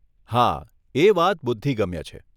હા, એ વાત બુદ્ધિગમ્ય છે.